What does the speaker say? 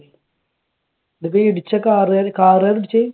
ഇതിപ്പോ ഈ ഇടിച്ച car കാര് car കാരാണോ ഇടിച്ചത്?